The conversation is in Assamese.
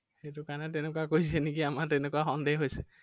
সেইটো কাৰনে তেনেকুৱা কৰিছে নেকি আমাৰ তেনেকুৱা সন্দেহ হৈছে।